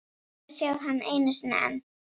Hún varð að sjá hann einu sinni enn.